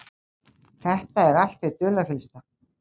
Þetta er allt hið dularfyllsta.